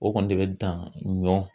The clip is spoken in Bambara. O kɔni de bɛ dan ɲɔ